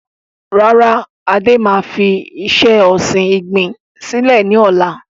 Rárá, Adé máa fi iṣẹ́ ọsìn igbin sílẹ̀ ni ọ̀la.